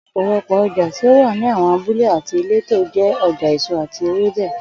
Ò̩pò̩lo̩pò̩ o̩jà tí ó wà ní àwo̩n abúlé àti ìletò jé̩ o̩jà èso àti ewébè